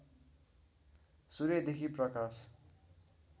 सूर्यदेखि प्रकाश